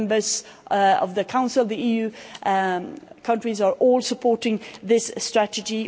The members of the Council of the EU countries are all supporting this strategy.